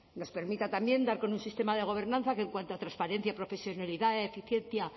nos permita también dar con un sistema de gobernanza que en cuanto a transparencia profesionalidad eficiencia